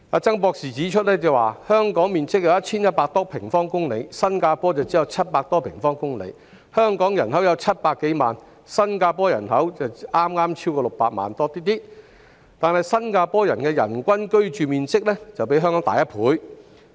曾博士指出，香港面積有 1,100 多平方公里，新加坡則只有700多平方公里，而香港人口有700多萬，新加坡人口亦剛超過600萬，但新加坡的人均居住面積比香港大1倍。